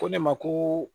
Ko ne ma ko